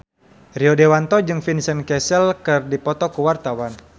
Rio Dewanto jeung Vincent Cassel keur dipoto ku wartawan